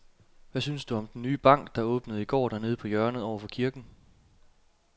Hvad synes du om den nye bank, der åbnede i går dernede på hjørnet over for kirken?